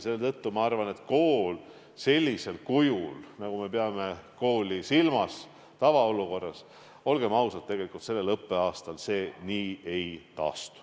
Seetõttu ma arvan, et kool sellisel kujul, nagu me peame silmas tavaolukorras, olgem ausad, sellel õppeaastal ei taastu.